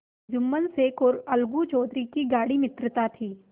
जुम्मन शेख और अलगू चौधरी में गाढ़ी मित्रता थी